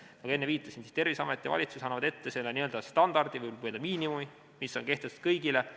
Ma ka enne viitasin, Terviseamet ja valitsus annavad ette standardi või miinimumi, mis on kehtestatud kõigile.